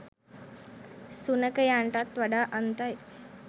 සුනඛයන්ටත් වඩා අන්තයි.